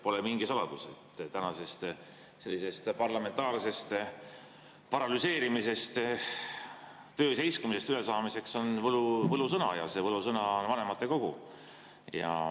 Pole mingi saladus, et tänasest sellisest parlamentaarsest paralüseerimisest, töö seiskumisest ülesaamiseks on võlusõna ja see võlusõna on vanematekogu.